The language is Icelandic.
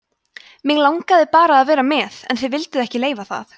mig langaði bara að vera með en þið vilduð ekki leyfa það